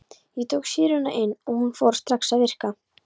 Ég tók sýruna inn og hún fór strax að virka.